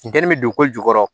Funteni bɛ don ko jukɔrɔ